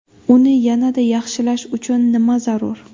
Uni yanada yaxshilash uchun nima zarur?